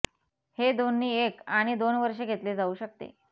हे दोन्ही एक आणि दोन वर्षे घेतले जाऊ शकते